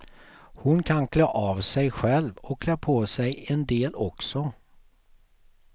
Hon kan klä av sig själv och klä på sig en del också.